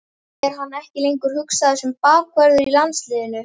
Er hann ekki lengur hugsaður sem bakvörður í landsliðinu?